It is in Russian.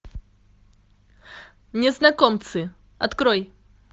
незнакомцы открой